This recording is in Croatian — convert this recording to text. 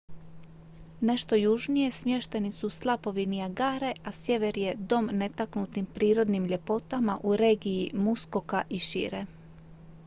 nešto južnije smješteni su slapovi niagare a sjever je dom netaknutim prirodnim ljepotama u regiji muskoka i šire